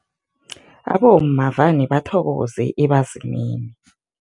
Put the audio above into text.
Abomma vane bathokoze ebazimini.